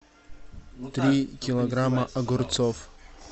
три килограмма огурцов